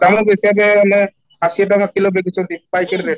ଧାନ ପେଷିବା ପାଇଁ ଆମେ ଅଶି ଟଙ୍କା kilo ବିକୁଛନ୍ତି packet ରେ